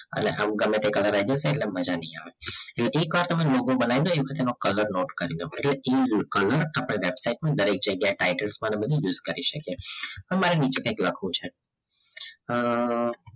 હવે સહમે ગમેતે color આય જસે મજા નહીં આવે એ એક વાર તમે logo બનાઈ ડો એક વાર પાછું હું color નોટે કરી લવ એટ્લે વેબસાઇટ પર દરેક જાગીય એ titles પણ અમે use કરી સાકીએ હવે મારે બીજું કઈક લખવું છે અ